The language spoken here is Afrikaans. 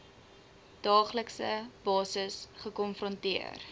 daaglikse basis gekonfronteer